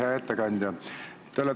Hea ettekandja!